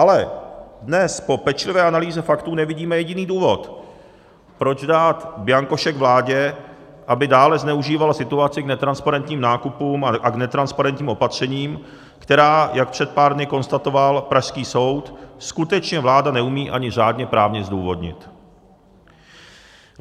Ale dnes po pečlivé analýze faktů nevidíme jediný důvod, proč dát bianko šek vládě, aby dále zneužívala situaci k netransparentním nákupům a netransparentním opatřením, která, jak před pár dny konstatoval pražský soud, skutečně vláda neumí ani řádně právně zdůvodnit.